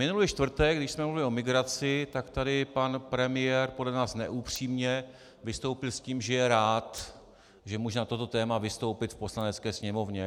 Minulý čtvrtek, když jsme mluvili o migraci, tak tady pan premiér podle nás neupřímně vystoupil s tím, že je rád, že může na toto téma vystoupit v Poslanecké sněmovně.